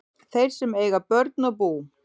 Þeir sem eiga börn og bú